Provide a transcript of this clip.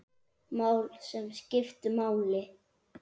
Mál, sem skiptu máli.